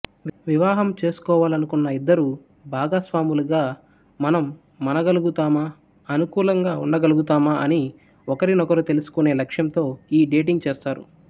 వివాహము చేసుకోవాలనుకున్న ఇద్దరు భాగస్వాములుగా మనం మనగలుగుతామా అనుకూలంగా ఉండగలుగుతామా అని ఒకరికొకరు తెలుసుకునే లక్ష్యంతో ఈ డేటింగ్ చేస్తారు